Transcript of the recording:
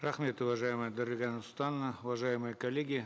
рахмет уважаемая дарига нурсултановна уважаемые коллеги